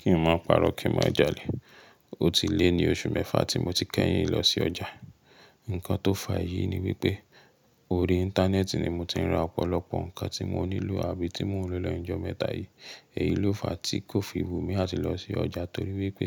Kí n má pa'rọ́, kí má jalè. Ó ti lé ní oṣù mẹ́fà tí mo ti kẹ́yìn lọ sí ọjà. Ǹkan tó fa eyí ni wípé orí Íńtánẹ́ẹ̀tì ni mo ti ń ra ọ̀pọ̀lọpọ̀ ǹkan tí mo nílò àbí tí mò ń lò lọ́jọ́ mẹ́ta yìí. Èyí ló fa tí kò fi bùnmi àti lọ sí ọjà torí wípé